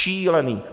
Šílený!